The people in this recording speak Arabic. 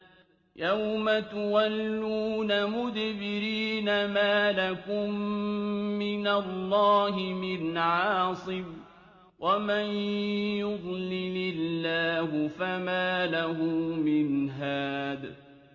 يَوْمَ تُوَلُّونَ مُدْبِرِينَ مَا لَكُم مِّنَ اللَّهِ مِنْ عَاصِمٍ ۗ وَمَن يُضْلِلِ اللَّهُ فَمَا لَهُ مِنْ هَادٍ